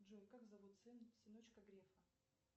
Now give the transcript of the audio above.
джой как зовут сыночка грефа